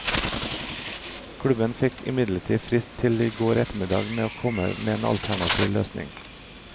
Klubben fikk imidlertid frist til i går ettermiddag med å komme med en alternativ løsning.